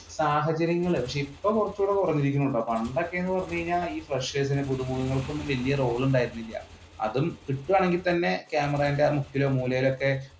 സാഹചര്യങ്ങൾ ഇപ്പൊ കുറച്ചും കുറഞ്ഞിരിക്കുന്നുട്ടോ പണ്ടൊക്കെ എന്ന് പറഞ്ഞു കഴിഞ്ഞാൽ freshers പുതുമുഖങ്ങൾക്ക് വല്യ റോൾ ഉണ്ടായിരുന്നില്ല അതും കിട്ടുവാണെങ്കിൽ തന്നെ ക്യാമറയുടെ മൂക്കിലോ മൂലയിലൊക്കെ